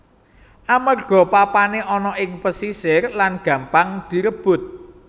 Amerga papané ana ing pesisir lan gampang direbut